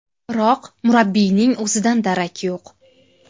Biroq murabbiyning o‘zidan darak yo‘q.